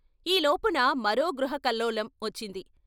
ఈ లోపున మరో గృహకల్లోలం వచ్చింది.